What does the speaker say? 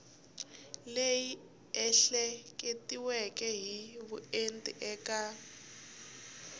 leyi ehleketiweke hi vuenti eka